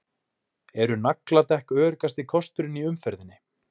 Eru nagladekk öruggasti kosturinn í umferðinni?